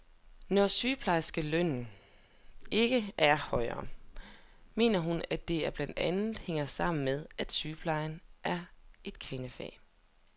Når sygeplejerskernes løn ikke er højere, mener hun, at det blandt andet hænger sammen med, at sygepleje er et kvindefag.